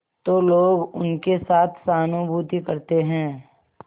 तो लोग उनके साथ सहानुभूति करते हैं